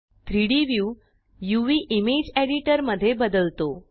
3डी व्यू uvइमेज एडिटर मध्ये बदलतो